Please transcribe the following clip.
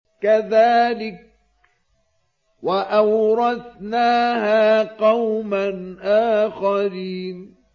كَذَٰلِكَ ۖ وَأَوْرَثْنَاهَا قَوْمًا آخَرِينَ